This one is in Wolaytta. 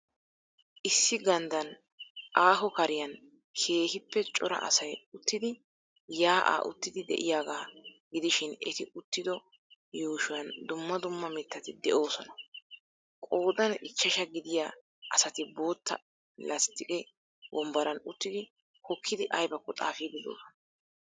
Issi ganddan aahoo kariyaan keehiippe cora asay uttidi yaa'aa oottidi de'yaagaa gidishin eti uttido yuushuwaan dumma dumma mittati doosona. Qoodan ichchashshaa gidiya asati bootta lastiqqe wombbaran uttidi hokkidi aybakko xaafiid doosona.